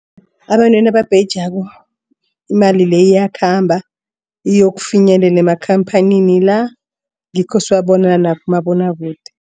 Abantu ababhejako imali leyo iyakhamba iyokufinyelela emakhamphanini la ngikho siwabona nakumabonwakude.